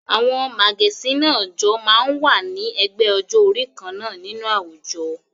Àwọn màgẹ̀sín náà jọ máa ń wà ní ẹgbẹ́ ọjọ́-orí kan náà nínú àwùjọ.